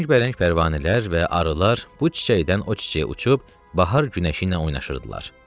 Rəngbərəng pərvanələr və arılar bu çiçəkdən o çiçəyə uçub bahar günəşi ilə oynayırdılar.